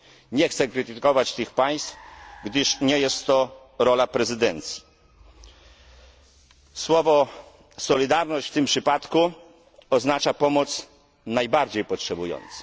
Nie chcę krytykować tych państw, gdyż nie jest to rola prezydencji. Słowo solidarność w tym przypadku oznacza pomoc najbardziej potrzebującym.